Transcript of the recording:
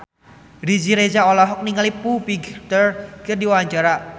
Riri Reza olohok ningali Foo Fighter keur diwawancara